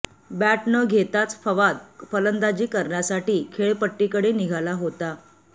bat न घेताच फवाद फलंदाजी करण्यासाठी खेळपट्टीकडे निघाला होता